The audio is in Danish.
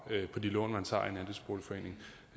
på de lån man tager